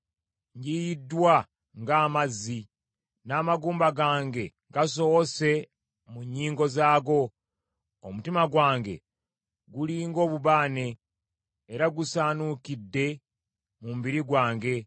Ngiyiddwa ng’amazzi, n’amagumba gange gasowose mu nnyingo zaago. Omutima gwange guli ng’obubaane, era gusaanuukidde mu mubiri gwange.